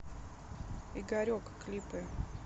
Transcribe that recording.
игорек клипы